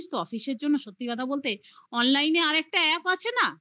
জানিস তো office র জন্য সত্যি কথা বলতে online আর একটা app আছে না